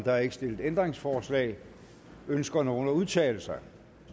er ikke stillet ændringsforslag ønsker nogen at udtale sig